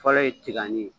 Fɔlɔ ye tigali ye